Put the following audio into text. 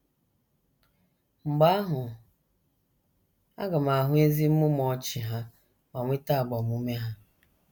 Mgbe ahụ aga m ahụ ezi mmụmụ ọnụ ọchị ha ma nweta agbamume ha.